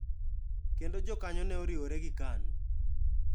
Kendo jokanyo ne oriwore gi KANU.